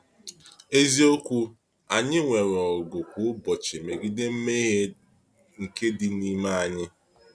Eziokwu, anyị nwere ọgụ kwa ụbọchị megide mmehie nke dị n’ime anyị.